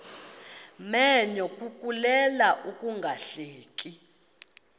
menyo kukuleka ungahleki